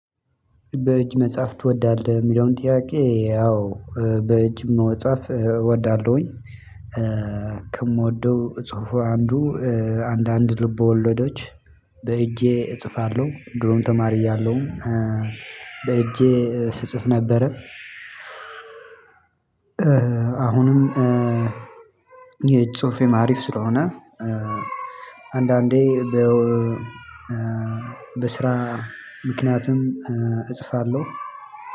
በእጅ መጻፍ ትወዳለህ? እሚለውን ጥያቄ ያው በእጅ መጻፍ እወዳለሁኝ። ከምወደው ጽሁፍ አንዱ አንዳንድ ልቦ ወለዶች። በእጄ እጽፋለሁ ድሮም ተማሪ እያለሁ በእጄ ስጽፍ ነበረ። አሁንም የእጅ ጽሁፌም አሪፍ ስለሆነ። አንዳንዴ በስራ ምክንያትም እጽፋለሁ።